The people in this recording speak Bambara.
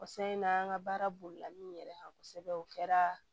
O s na an ka baara bolila min yɛrɛ kan kosɛbɛ o kɛra